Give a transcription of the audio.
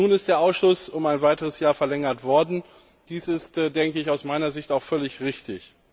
Nun ist der Ausschuss um ein weiteres Jahr verlängert worden. Dies ist aus meiner Sicht auch völlig richtig.